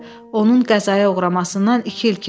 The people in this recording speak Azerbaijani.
Onun qəzaya uğramasından iki il keçib.